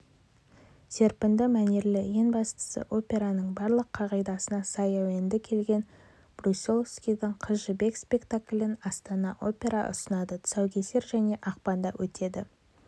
серпінді мәнерлі ең бастысы операның барлық қағидасына сай әуенді келген брусиловскийдің қыз жібек спектаклін астана опера ұсынады тұсаукесер және ақпанда өтеді